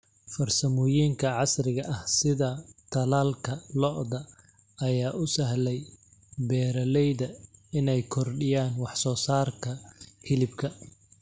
Farsamooyinka casriga ah sida tallaalka lo'da ayaa u sahlay beeralayda inay kordhiyaan wax soo saarka hilibka.